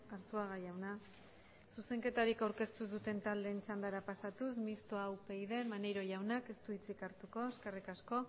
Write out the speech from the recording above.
arzuaga jauna zuzenketarik aurkeztu zuten taldeen txandara pasatuz mistoa upyd maneiro jaunak ez du hitzik hartuko eskerrik asko